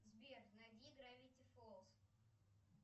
сбер найди гравити фолз